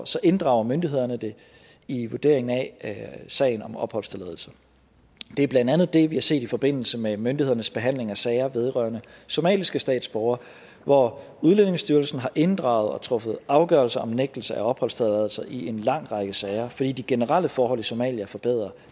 så inddrager myndighederne det i vurderingen af sagen om opholdstilladelse det er blandt andet det vi har set i forbindelse med myndighedernes behandling af sager vedrørende somaliske statsborgere hvor udlændingestyrelsen har inddraget og truffet afgørelse om nægtelse af opholdstilladelse i en lang række sager fordi de generelle forhold i somalia er forbedret